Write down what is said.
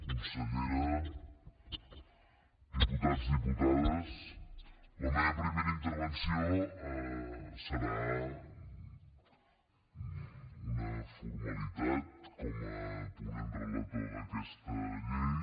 consellera diputats diputades la meva primera intervenció serà una formalitat com a ponent relator d’aquesta llei